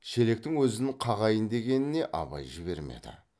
шелектің өзін қағайын дегеніне абай жібермеді